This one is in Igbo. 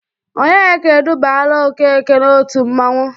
Ònyeka edubaala Okeke n'otu mmanwụ.